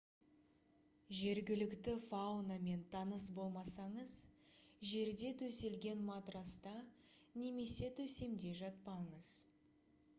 жергілікті фаунамен таныс болмасаңыз жерде төселген матраста немесе төсемде жатпаңыз